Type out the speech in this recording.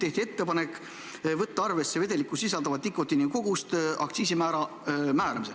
Tehti ettepanek võtta aktsiisimäära määramisel arvesse vedelikus sisalduva nikotiini kogust.